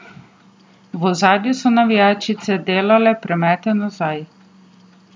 V ozadju so navijačice delale premete nazaj.